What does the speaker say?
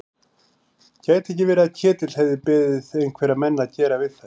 Gæti ekki verið að Ketill hefði beðið einhverja menn að gera við þær?